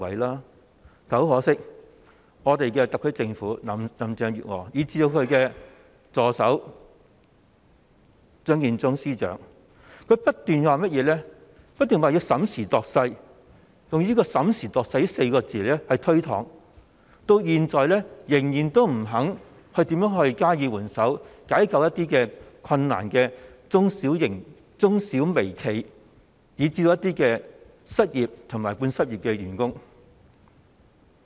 但很可惜，特區政府、林鄭月娥以至其助手張建宗司長，只不斷說要審時度勢，用"審時度勢"這4個字來推搪，至今仍然不肯加以援手，解救一些處於困難的中小微企，以至一些失業及半失業的員工。